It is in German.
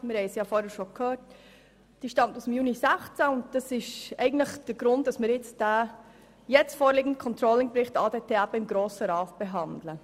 Sie stammt aus dem Juni 2016 und ist der Grund dafür, dass wir den jetzt vorliegenden Controlling-Bericht ADT im Grossen Rat behandeln.